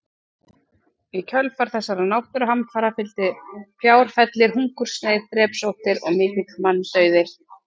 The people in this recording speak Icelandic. Í kjölfar þessara náttúruhamfara fylgdi fjárfellir, hungursneyð, drepsóttir og mikill manndauði.